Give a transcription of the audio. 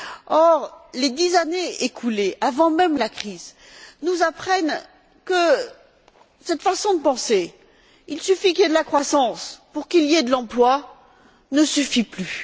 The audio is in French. Or, les dix années écoulées, avant même la crise, nous apprennent que cette façon de penser il suffit qu'il y ait de la croissance pour qu'il y ait de l'emploi ne suffit plus.